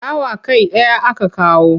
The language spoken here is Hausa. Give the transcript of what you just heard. Dawa kai ɗaya aka kawo.